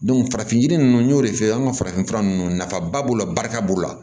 farafin yiri ninnu n'o de fɛ an ka farafinfura nunnu nafaba b'o la barika b'o la